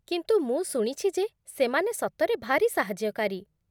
କିନ୍ତୁ, ମୁଁ ଶୁଣିଛି ଯେ ସେମାନେ ସତରେ ଭାରି ସାହାଯ୍ୟକାରୀ ।